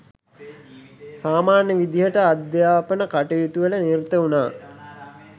සාමාන්‍ය විදිහට අධ්‍යාපන කටයුතුවල නිරත වුණා.